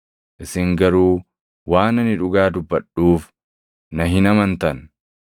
Isin garuu waan ani dhugaa dubbadhuuf na hin amantan!